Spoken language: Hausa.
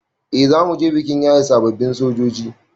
Eh zamuje bikin yaye sababbin sojoji